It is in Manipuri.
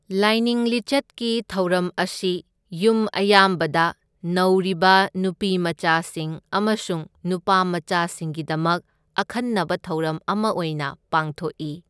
ꯂꯥꯏꯅꯤꯡ ꯂꯤꯆꯠꯀꯤ ꯊꯧꯔꯝ ꯑꯁꯤ ꯌꯨꯝ ꯑꯌꯥꯝꯕꯗ ꯅꯧꯔꯤꯕ ꯅꯨꯄꯤꯃꯆꯥꯁꯤꯡ ꯑꯃꯁꯨꯡ ꯅꯨꯄꯥꯃꯆꯥꯁꯤꯡꯒꯤꯗꯃꯛ ꯑꯈꯟꯅꯕ ꯊꯧꯔꯝ ꯑꯃ ꯑꯣꯏꯅ ꯄꯥꯡꯊꯣꯛꯏ꯫